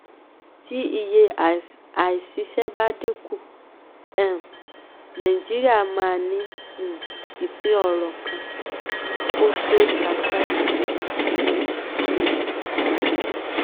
um tí iye àìsísẹ́ bá dínkù um nàìjíríà máa ní um ìpín ọrọ̀ kò tó thirty five percent.